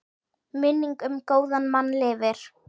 Minning um góðan mann lifir.